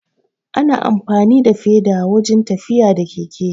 Ana amfani da feda wurin tafiya da keke